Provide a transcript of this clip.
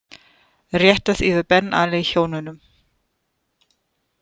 Réttað yfir Ben Ali hjónunum